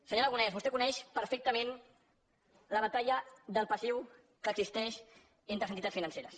senyor aragonès vostè coneix perfectament la batalla del passiu que existeix entre les entitats financeres